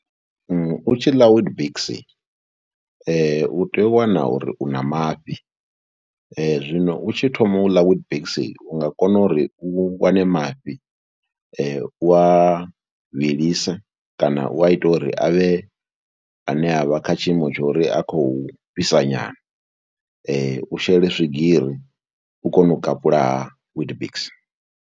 U tshi ḽa Weetbix u tea u wana uri u na mafhi, zwino u tshi thoma u ḽa Weetbix u nga kona uri u wane mafhi, u wa vhilise kana u a ite uri a vhe ane a vha kha tshiimo tsho ri a khou fhisa nyana, u shele swigiri u kone u kapula ha Weetbix.